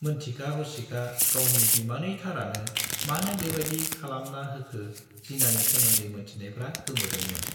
मोनथिखा हसिखा गावनि बिमानैथारानो मानो बेबाइदि खालामना होखो जिनानि सोमोन्दै मोनथिनायफ्रा गोमोदोंमोन।